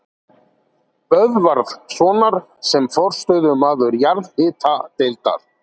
Böðvarssonar sem forstöðumaður jarðhitadeildar